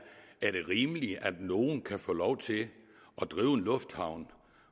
rimeligt at nogen kan få lov til at drive en lufthavn